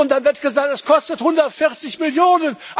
Und dann wird gesagt Das kostet 140 Millionen.